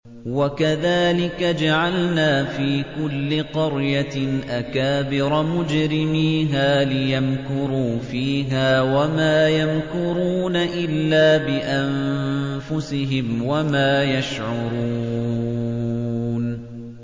وَكَذَٰلِكَ جَعَلْنَا فِي كُلِّ قَرْيَةٍ أَكَابِرَ مُجْرِمِيهَا لِيَمْكُرُوا فِيهَا ۖ وَمَا يَمْكُرُونَ إِلَّا بِأَنفُسِهِمْ وَمَا يَشْعُرُونَ